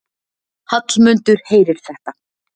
Hallmundur heyrir þetta.